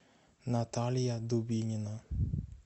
наталья дубинина